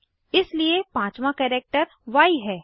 इसलिए पाँचवाँ कैरेक्टर य है